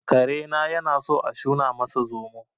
Karena yanasan a shuna masa zomo